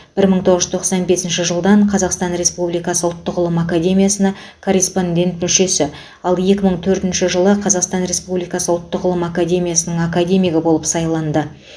бір мың тоғыз жүз тоқсан бесінші жылдан қазақстан республикасы ұлттық ғылым академиясына корреспондент мүшесі ал екі мың төртінші жылы қазақстан республикасы ұлттық ғылым академиясын академигі болып сайланды